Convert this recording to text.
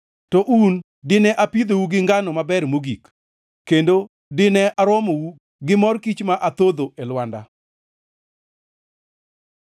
To un dine apidhou gi ngano maber mogik, kendo dine aromou gi mor kich ma athodho e lwanda.”